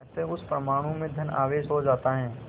अतः उस परमाणु में धन आवेश हो जाता है